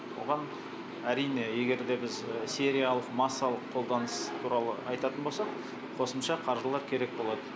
оған әрине егер де біз сериялық массалық қолданыс туралы айтатын болсақ қосымша қаржылар керек болады